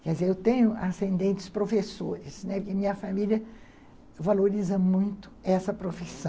Quer dizer, eu tenho ascendentes professores, né, porque minha família valoriza muito essa profissão.